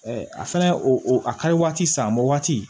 a fɛnɛ o a ka di waati san a ma waati